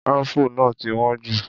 Apple náà ti wọ́n jù.